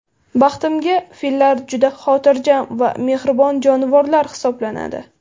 Baxtimga, fillar juda xotirjam va mehribon jonivorlar hisoblanadi.